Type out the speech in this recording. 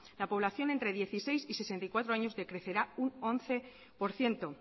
la población entre dieciséis y sesenta y cuatro años decrecerá un once por ciento